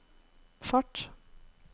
fart